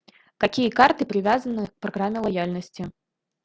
какие карты привязаны к программе лояльности